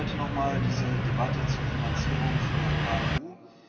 Warum heute nochmal diese Debatte zur Finanzierung für KMU?